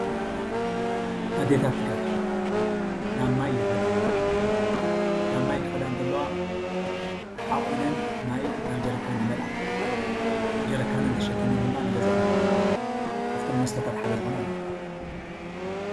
ኣዴታታት ትግራይ ናብ ማይ ይኸዳ ናብ ማይ ክኸዳ እንተለዋ ሓቚነን ማይ ናብ ጀሪካን ይመልኣ ጀሪካነን ተሸኪመን ንገዝአን ይኸዳ ከፍቶም መስተታት ሓደ ምይ እዩ።